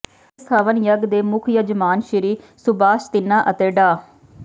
ਇਸ ਹਵਨ ਯੱਗ ਦੇ ਮੁੱਖ ਯਜਮਾਨ ਸ਼੍ਰੀ ਸੁਭਾਸ਼ ਤਿੰਨਾ ਅਤੇ ਡਾ